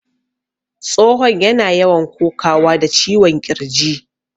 Tsohon yana yawan kokawa da ciwon ƙirji